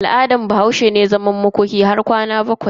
Al'adan Bahaushe ne zaman makoki har tsawon kwanaki bakwai idan akayi rasuwa.